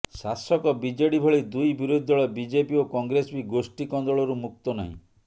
ଶାସକ ବିଜେଡି ଭଳି ଦୁଇ ବିରୋଧୀ ଦଳ ବିଜେପି ଓ କଂଗ୍ରେସ ବି ଗୋଷ୍ଠୀ କନ୍ଦଳରୁ ମୁକ୍ତ ନାହିଁ